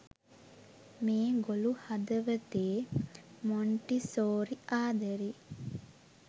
මේ ගොලු හදවතේ මොන්ටිසෝරි ආදරේ